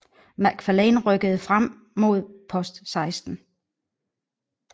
Macfarlane rykkede frem mod Post 16